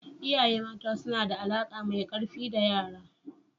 Iyaye mata suna da alaƙa mai ƙarfi da yara.